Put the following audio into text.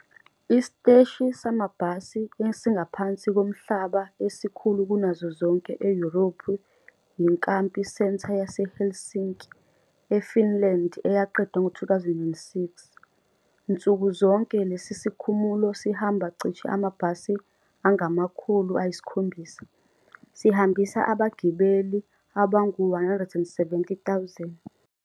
Isiteshi samabhasi esingaphansi komhlaba esikhulu kunazo zonke eYurophu yiKamppi Center yaseHelsinki, eFinland eyaqedwa ngo-2006. Nsuku zonke, lesi sikhumulo sihamba cishe amabhasi angama-700, sihambisa abagibeli abangaba ngu-170,000.